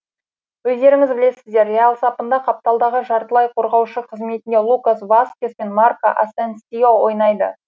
өздеріңіз білесіздер реал сапында қапталдағы жартылай қорғаушы қызметінде лукас васкес пен марко асенсио ойнайды